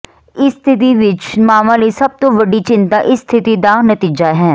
ਇਸ ਸਥਿਤੀ ਵਿੱਚ ਮਾਵਾਂ ਲਈ ਸਭ ਤੋਂ ਵੱਡੀ ਚਿੰਤਾ ਇਸ ਸਥਿਤੀ ਦਾ ਨਤੀਜਾ ਹੈ